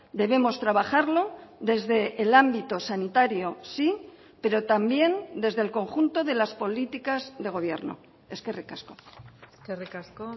debemos trabajarlo desde el ámbito sanitario sí pero también desde el conjunto de las políticas de gobierno eskerrik asko eskerrik asko